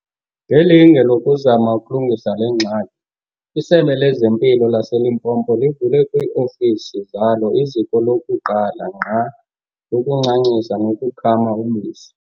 Ngelinge lokuzama ukulungisa le ngxaki, iSebe lezeMpilo laseLimpopo livule kwii-ofisi zalo iziko lokuqala ngqa lokuncancisa nokukhama ubisi.